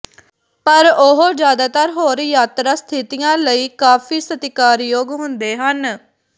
ਪਰ ਉਹ ਜ਼ਿਆਦਾਤਰ ਹੋਰ ਯਾਤਰਾ ਸਥਿਤੀਆਂ ਲਈ ਕਾਫ਼ੀ ਸਤਿਕਾਰਯੋਗ ਹੁੰਦੇ ਹਨ